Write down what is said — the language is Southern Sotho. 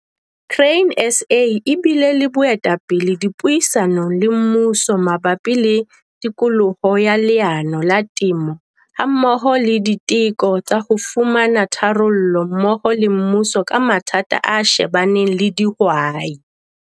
Grain SA e bile le boetapele dipuisanong le mmuso mabapi le tikoloho ya leano la temo, hammoho le diteko tsa ho fumana tharollo mmoho le mmuso ka mathata a shebaneng le dihwai.